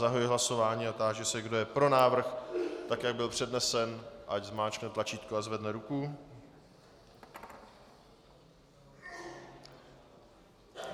Zahajuji hlasování a táži se, kdo je pro návrh, tak jak byl přednesen, ať zmáčkne tlačítko a zvedne ruku.